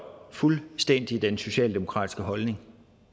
fuldstændig den socialdemokratiske holdning